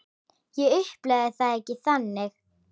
Ég upplifi það ekki þannig.